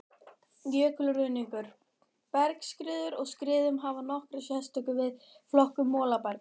Jökulruðningur, bergskriður og skriður hafa nokkra sérstöðu við flokkun molabergs.